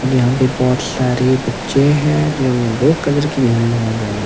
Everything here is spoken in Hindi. और यहां पे बहोत सारे बच्चे हैं जिन्होंने ब्लू कलर की यूनिफार्म पहनी है।